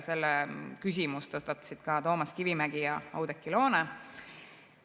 Selle küsimuse tõstatasid ka Toomas Kivimägi ja Oudekki Loone.